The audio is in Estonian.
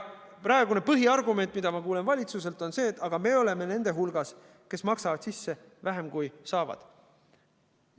Praegune põhiargument, mida ma kuulen valitsuselt, on see, et aga me oleme nende hulgas, kes maksavad sisse vähem, kui saavad.